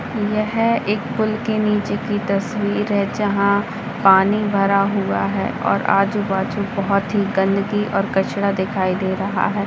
यह एक पुल के नीचे की तस्वीर है जहाँ पानी भरा हुआ है और आजू-बाजू बहुत ही गंदगी और कचरा दिखाई दे रहा हैं।